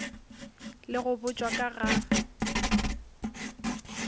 le go botšwa ka ga